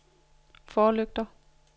forlygter